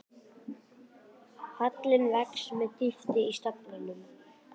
Hallinn vex með dýpi í staflanum.